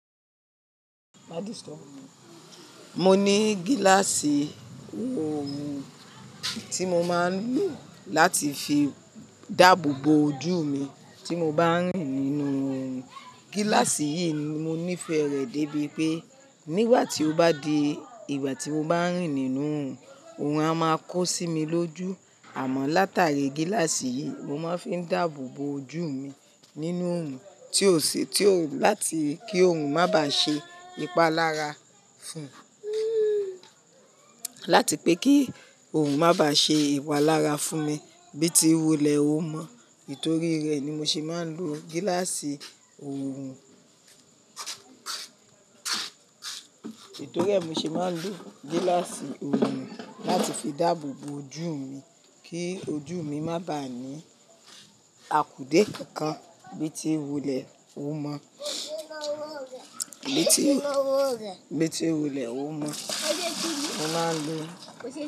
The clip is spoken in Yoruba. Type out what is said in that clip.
Mo ní gíláàsì òòru tí mo máa ń lò láti fi dáàbò bo ojú mi tí mo bá ń rìn nínú òòrùn. Gíláàsì yìí ni mo nífẹ̀ẹ́ rẹ̀ dé bí pé nígbà tí ó bá di ìgbà tí mo bá ń rìn nínú òòrùn, òòrùn a máa kó sí mi lójú. Àmọ́ látàrí gíláàsì yìí mo máa ń fi dáàbò bo ojú mi nínú òòrùn tio si tio láti kí òòrùn má bá ṣe ìpalára fún, láti pé kí òòrùn má bá ṣe ìwà lára fún mi bí tí wòlẹ̀ ó mọ̀. Nitòrí rẹ̀ ni mo ṣe máa ń lo gíláàsì òòrùn. Nitòrí rẹ̀ mo ṣe máa ń lo gíláàsì òòrùn láti fi dáàbò bo ojú mi kí ojú mi má bá ní àkúdé kankan bí tí wòlẹ̀ ó mọ̀. Bí tí wulẹ̀ ó mọ̀. Mo máa ń lo.